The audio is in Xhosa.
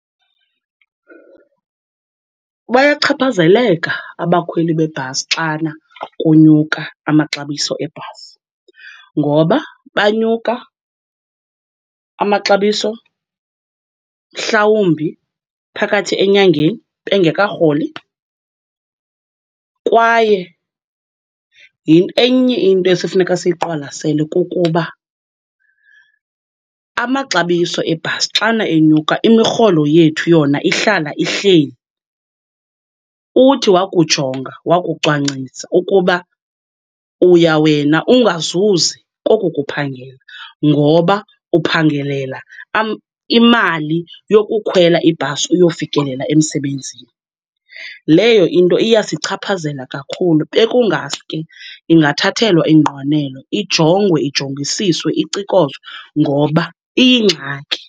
Bayachaphazeleka abakhweli bebhasi xana kunyuka amaxabiso ebhasi ngoba banyuka, amaxabiso mhlawumbi phakathi enyangeni bengekarholi. Kwaye enye into esifuneka siyiqwalasele kukuba amaxabiso ebhasi xana enyuka, imirholo yethu yona ihlala ihleli. Uthi wakujonga wakucwangcisa ukuba uya wena ungazuzi koko kuphangela ngoba uphangelela imali yokukhwela ibhasi uyofikelela emsebenzini, leyo into iyasichaphazela kakhulu. Bekungaske ingathathelwa ingqalelo, ijongwe ijongisiswe, icikozwe ngoba iyingxaki.